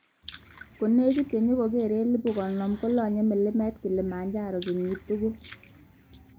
Konekit chenyokokere 50,000 kolonye mlimet Kilimanjaro kenyit tugul.